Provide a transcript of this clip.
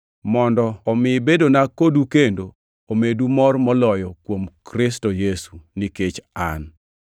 mondo omi bedona kodu kendo omedu mor moloyo kuom Kristo Yesu nikech an.